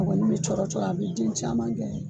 A kɔni bɛ cɔrɔ cɔrɔ a bɛ den caman kɛ